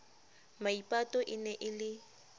maipato e ne e le